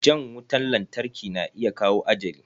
Jan wutan lantarki na iya kawo ajali.